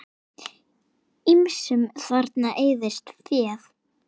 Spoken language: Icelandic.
Ýmsum þarna eyðist féð.